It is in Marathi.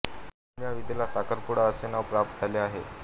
म्हणून या विधीला साखरपुडा असे नाव प्राप्त झाले आहे